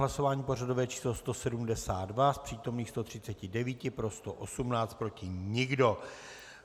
Hlasování pořadové číslo 172, z přítomných 139 pro 118, proti nikdo.